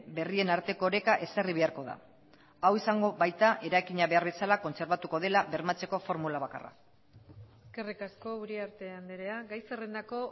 berrien arteko oreka ezarri beharko da hau izango baita eraikina behar bezala kontserbatuko dela bermatzeko formula bakarra eskerrik asko uriarte andrea gai zerrendako